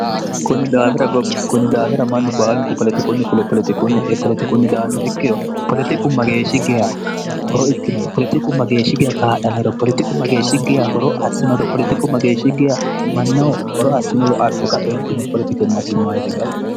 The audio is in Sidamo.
kunni daawira mannu baalunku politikunni fule politikunni e politikunni daanno ikkiro politiku mageeshshi geya horo ikkinoro politiku mageeshshi geya kaadhannore politiku mageeshshiggiya horo assinoro politiku mageeshshi geya mannahu horo assinoro afika eentine politike msimmayite galtanno